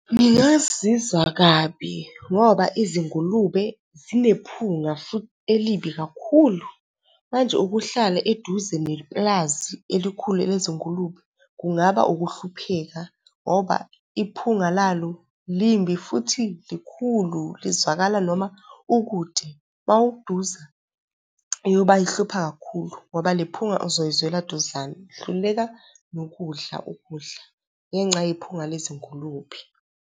Ngingazizwa kabi ngoba izingulube zinephunga futhi elibi kakhulu. Manje, ukuhlala eduze nepulazi elikhulu elezingulube kungaba ukuhlupheka ngoba iphunga lalo limbi futhi likhulu, lizwakala noma ukude. Uma useduze iyoba ihlupha kakhulu ngoba lephunga azoyizwela eduzane, uhluleka nokudla ukudla ngenxa yephunga lezingulube.